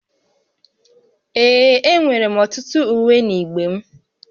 Ee, enwere m ọtụtụ uwe n'igbe m